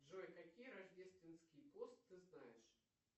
джой какие рождественские пост ты знаешь